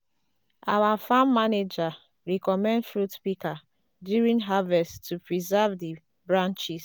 our farm manager recommend fruit pika during harvest to preserve di branches